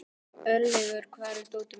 Örlygur, hvar er dótið mitt?